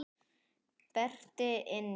Berti inn í.